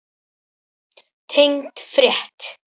Tengd frétt